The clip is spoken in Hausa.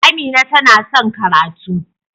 Amina ta na son karatu.